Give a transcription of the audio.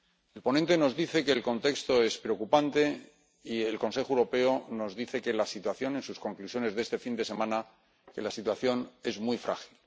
El ponente nos dice que el contexto es preocupante y el Consejo Europeo nos dice, en sus conclusiones de este fin de semana, que la situación es muy frágil.